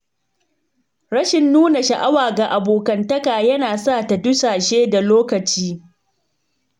Rashin nuna sha’awa ga abokantaka yana sa ta dusashe da lokaci.